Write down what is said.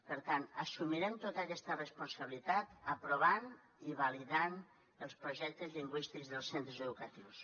per tant assumirem tota aquesta responsabilitat aprovant i validant els projectes lingüístics dels centres educatius